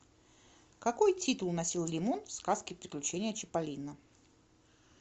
какой титул носил лимон в сказке приключения чиполлино